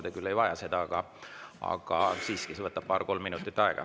Te küll ei vaja seda, aga siiski see võtab paar‑kolm minutit aega.